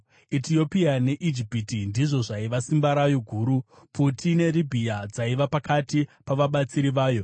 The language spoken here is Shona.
Etiopia neIjipiti ndizvo zvaiva simba rayo guru; Puti neRibhiya dzaiva pakati pavabatsiri vayo.